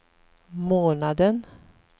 månaden